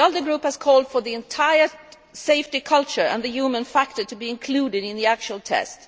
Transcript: The ALDE Group has called for the entire safety culture and the human factor to be included in the test.